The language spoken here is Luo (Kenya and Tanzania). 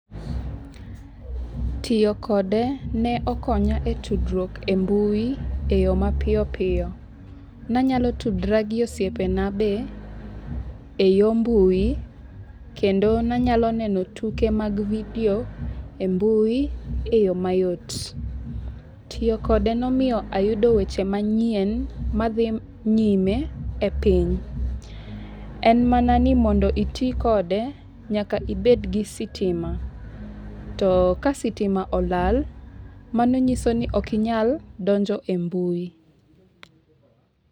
Tiyo kode ne okonya e tudruok e mbui e yo mapiyo piyo. Ne anyalo tudora gi osiepena be e yo mbui kendo ne anyalo neno tuke mag video e mbui e yo mayot. Tiyo kode nomiyo ayudo weche manyien madhi nyime e piny. En mana ni mondo iti kode nyaka ibed gi sitima. To ka sitima olal mano nyiso ni ok inyal donjo e mbui.